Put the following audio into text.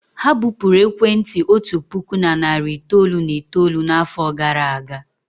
Ha bupụrụ ekwentị otu puku na narị itoolu na itoolu n'afọ gara aga.